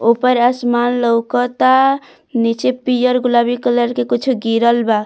ऊपर आसमान लउकता नीचे पियर गुलाबी कलर के कुछो गिरल बा।